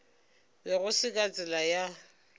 be go se ka tsela